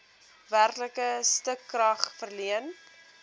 werklike stukrag verleen